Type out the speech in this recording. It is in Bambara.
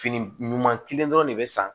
Fini ɲuman kelen dɔrɔn de bɛ san